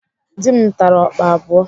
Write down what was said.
Dị m tara ọkpa abụọ.